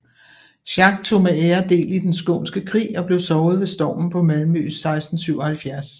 Schack tog med ære del i Den Skånske Krig og blev såret ved stormen på Malmø 1677